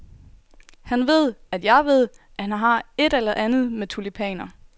Han ved, at jeg ved, at han har et eller andet med tulipaner.